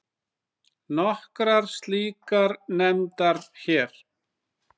Nokkrar slíkar nefndar hér